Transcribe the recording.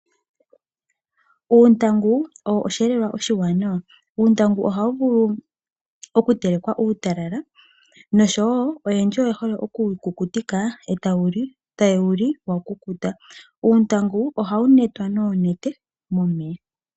Uuntangu owo oshiyelelwa oshiwanawa. Uuntangu ohawu vulu okutelekwa uutalala nosho wo oyendji oye hole okuwu kukutika, eta ye wuli wakukuta. Uuntangu ohawu netwa noonete momeya.